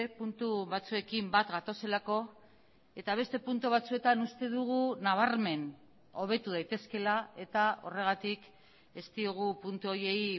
puntu batzuekin bat gatozelako eta beste puntu batzuetan uste dugu nabarmen hobetu daitezkeela eta horregatik ez diogu puntu horiei